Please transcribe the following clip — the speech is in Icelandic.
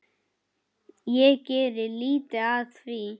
Ég geri lítið af því.